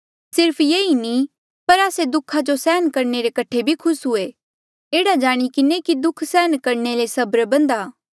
सिर्फ ये ई नी पर आस्से दुःखा जो सैहण रे कठे भी खुस हुयें एह्ड़ा जाणी किन्हें कि दुःखा सैहण करणे ले सबर बधां